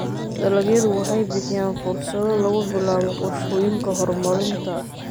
Dalagyadu waxay bixiyaan fursado lagu bilaabo qorshooyinka horumarinta.